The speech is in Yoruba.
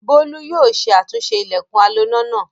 Bólú yóò ṣe àtúnṣe ilẹ̀kùn aloná náà.